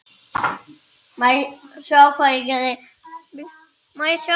Greinar eftir Jón Ásgeir